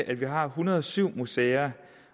at vi har en hundrede og syv museer